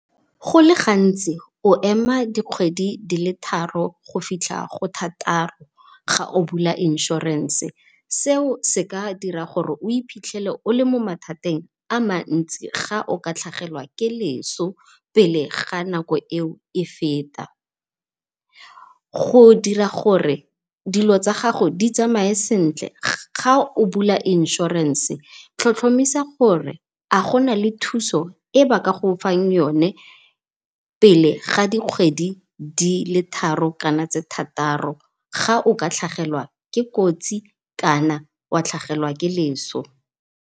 Go le gantsi o ema di kgwedi di le tharo go fitlha go thataro ga o bula insurance, seo seka dira gore o iphitlhele o le mo mathateng a mantsi ga o ka tlhagelwa le leso pele ga nako e o e feta. Go dira gore dilo tsa gago di tsamae sentle ga o bula insurance tlhotlhomisa gore, a gona le thuso e ba ka go fang yone pele ga dikgwedi dile tharo kana tse thataro, ga o ka tlhagelwa ke kotsi kana wa tlhagelwa ke leso.